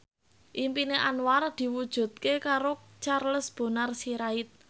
impine Anwar diwujudke karo Charles Bonar Sirait